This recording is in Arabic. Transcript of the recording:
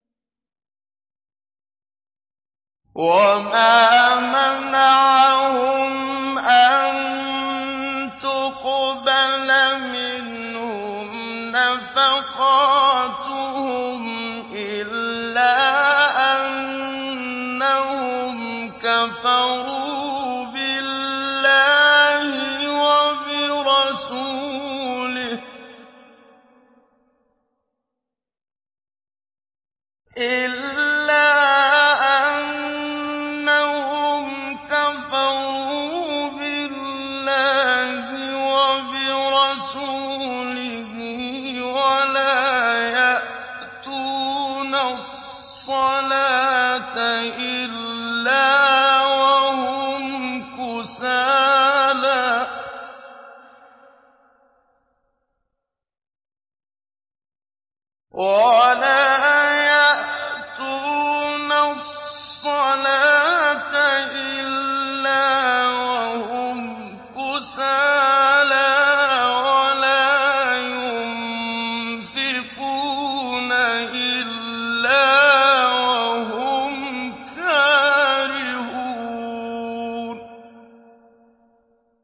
وَمَا مَنَعَهُمْ أَن تُقْبَلَ مِنْهُمْ نَفَقَاتُهُمْ إِلَّا أَنَّهُمْ كَفَرُوا بِاللَّهِ وَبِرَسُولِهِ وَلَا يَأْتُونَ الصَّلَاةَ إِلَّا وَهُمْ كُسَالَىٰ وَلَا يُنفِقُونَ إِلَّا وَهُمْ كَارِهُونَ